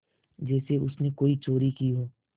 जैसे उसने कोई चोरी की हो